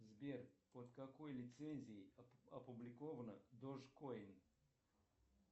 сбер под какой лицензией опубликовано дожкойн